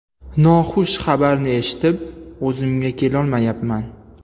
Noxush xabarni eshitib, o‘zimga kelolmayapman.